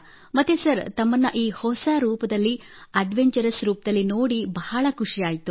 ಮತ್ತೆ ಸರ್ ತಮ್ಮನ್ನು ಈ ಹೊಸ ರೂಪದಲ್ಲಿ ಅಡ್ವೆಂಚರಸ್ ರೂಪದಲ್ಲಿ ನೋಡಿ ಬಹಳ ಖುಷಿಯಾಯಿತು